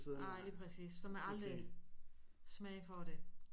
Ej lige præcis så man aldrig smage på det